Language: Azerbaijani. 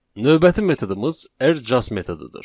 Növbəti metodumuz R just metodudur.